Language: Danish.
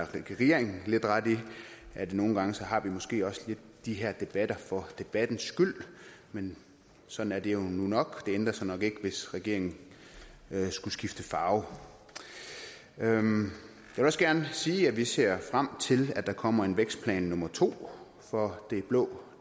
regeringen lidt ret i at vi nogle gange måske også har de her debatter for debattens skyld men sådan er det nu nok det ændrer sig nok ikke hvis regeringen skulle skifte farve jeg vil også gerne sige at vi ser frem til at der kommer en vækstplan nummer to for det blå